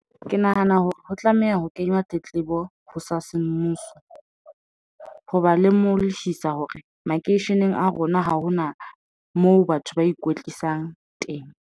Ke nahana hore ho tlameha ho kenywa tletlebo ho sa semmuso hoba le mo hore makeisheneng a rona, ha hona moo batho ba ikwetlisang teng.